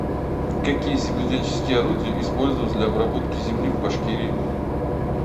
какие земледельческие орудия использовались для обработки земли в башкирии